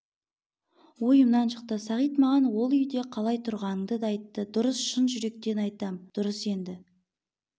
ойымнан шықты сағит маған ол үйде қалай тұрғаныңды да айтты дұрыс шын жүректен айтам дұрыс енді